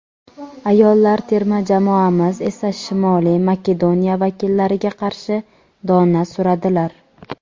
ayollar terma jamoamiz esa Shimoliy Makedoniya vakillariga qarshi dona suradilar.